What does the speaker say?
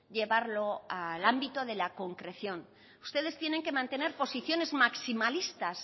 llevarlo al ámbito de la concreción ustedes tienen que mantener posiciones maximalistas